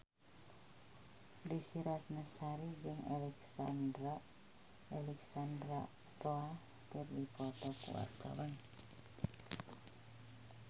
Desy Ratnasari jeung Alexandra Roach keur dipoto ku wartawan